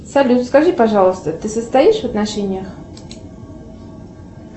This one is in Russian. салют скажи пожалуйста ты состоишь в отношениях